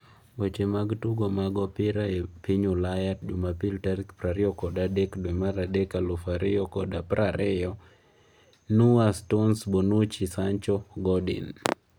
Weche mag tugo mar opira e piny Ulaya jumapil tarik prariyokod adekmarch aluf ariyo kod prariyo: Neuer, Stones, Bonucci, Sancho, Godin